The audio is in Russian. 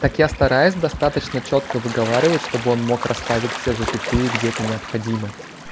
так я стараюсь достаточно чётко выговаривать чтобы он мог расставить все запятые где это необходимо